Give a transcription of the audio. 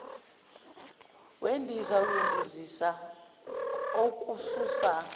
wendiza uyondizisa okususa